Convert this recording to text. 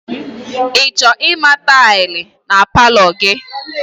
I ga-achọ ịma tailị na palọ gị?